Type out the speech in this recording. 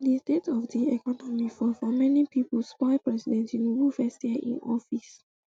di state of di economy for for many pipo spoil president tinubu first year in office